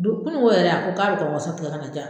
Don ko yɛrɛ a ko k'a bɛ ka waso ka na di yan